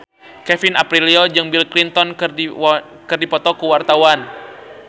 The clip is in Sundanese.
Kevin Aprilio jeung Bill Clinton keur dipoto ku wartawan